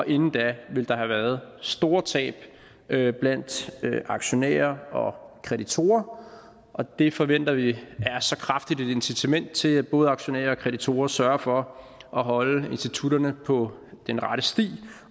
inden da ville der have været store tab tab blandt aktionærer og kreditorer og det forventer vi er et kraftigt incitament til at både aktionærer og kreditorer sørger for at holde institutterne på den rette sti